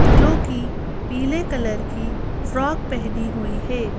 जो कि पीले कलर की फ्रॉक पहनी हुई है।